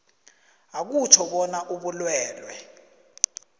akutjho bona ubulwelwe